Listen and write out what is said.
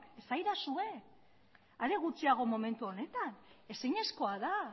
esaidazue are gutxiago momentu honetan ezinezkoa da